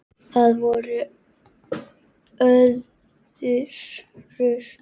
Það var í öðru lífi.